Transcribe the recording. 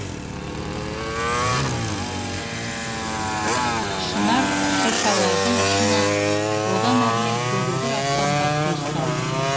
шынар шыршалардың ұшына одан әрмен көгілдір аспанға көз салды